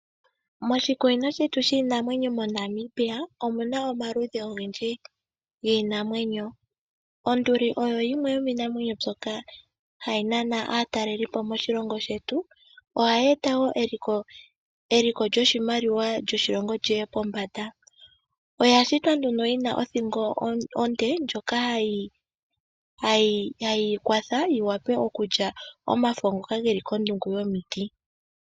Moshikunino shetu shiinamwenyo moNamibia, omuna omaludhi ogendji giinamwenyo. Onduli oyo yimwe yomiinamwenyo mbyoka hayi nana aatalelipo moshilongo shetu. Ohaye eta woo eliko lyoshimaliwa lyoshilongo li ye pombanda. Oya shitwa nduno yina othingo onde ,ndjoka ha yi yi kwatha yi wape okulya omafo ngoka geli kondungu yomiti .